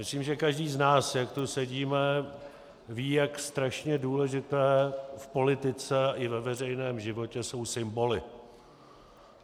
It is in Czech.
Myslím, že každý z nás, jak tu sedíme, ví, jak strašně důležité v politice i ve veřejném životě jsou symboly.